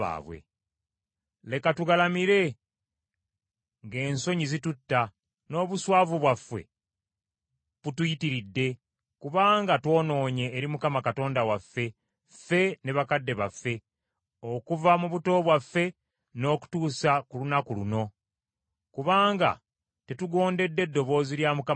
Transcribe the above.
Leka tugalamire, ng’ensonyi zitutta, n’obuswavu bwaffe butuyitiridde kubanga twonoonye eri Mukama Katonda waffe, ffe ne bakadde baffe, okuva mu buto bwaffe n’okutuusa ku lunaku luno; kubanga tetugondedde ddoboozi lya Mukama Katonda waffe.”